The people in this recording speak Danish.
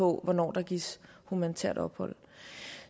hvornår der gives humanitært ophold